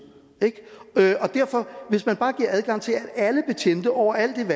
hvis man bare giver adgang til at alle betjente over